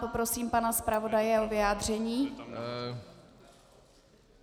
Poprosím pana zpravodaje o vyjádření.